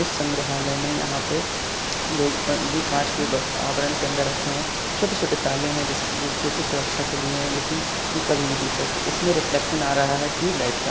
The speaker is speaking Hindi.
उस संग्रहालय में यहाँ पे लोग ये काच के आवरण अंदर रखे है छोटे-छोटे ताले है जोकि सुरक्षा के लिए है लेकिन ये कभी भी टूट सकते है इसमें रिफ्लेक्सन आ रह है टूयुव लाईट का।